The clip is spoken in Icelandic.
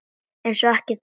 Eins og ekkert sé!